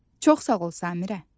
Çox sağ ol Samirə.